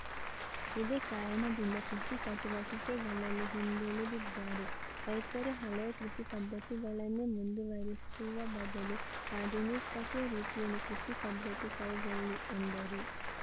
ಇದೇ ಕಾರಣದಿಂದ ಕೃಷಿ ಚಟುವಟಿಕೆಗಳಲ್ಲಿ ಹಿಂದುಳಿದಿದ್ದಾರೆ ರೈತರು ಹಳೆಯ ಕೃಷಿ ಪದ್ಧತಿಗಳನ್ನೇ ಮುಂದುವರಿಸುವ ಬದಲು ಆಧುನಿಕತೆ ರೀತಿಯಲ್ಲಿ ಕೃಷಿ ಪದ್ಧತಿ ಕೈಗೊಳ್ಳಿ ಎಂದರು